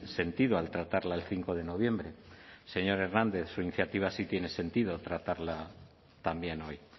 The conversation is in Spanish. sentido al tratarla el cinco de noviembre señor hernández su iniciativa sí tiene sentido tratarla también hoy